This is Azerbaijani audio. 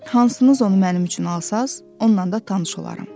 Hansınız onu mənim üçün alsanız, onunla da tanış olaram.